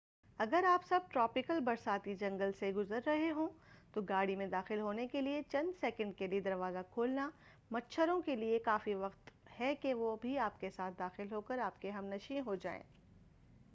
اگر آپ سب ٹراپیکل برساتی جنگل سے گزر رہے ہوں تو گا ڑی میں داخل ہونے کے لئے چند سکنڈ کے لئے دروازہ کھولنا مچھروں کے لئے کافی وقت ہے کہ وہ بھی آپ کے ساتھ داخل ہوکر آپ کے ہم نشیں ہو جائیں